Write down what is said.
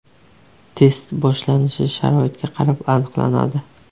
Test boshlanishi sharoitga qarab aniqlanadi.